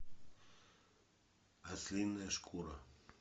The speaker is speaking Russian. ослиная шкура